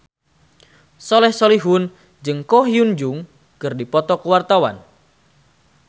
Soleh Solihun jeung Ko Hyun Jung keur dipoto ku wartawan